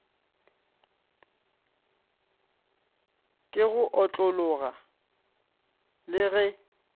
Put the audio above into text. ke go otlologa le ge